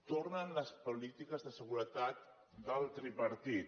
tornen les polítiques de seguretat del tripartit